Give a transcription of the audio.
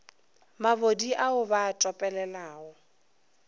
mabodi ao ba a topelelago